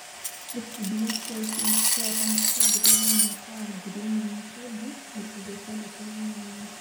Gĩkundi kĩa CIC Insurance kĩambĩrĩirio mwaka wa ngiri ĩmwe na kenda, mĩrongo ĩtandatũ na inyanya.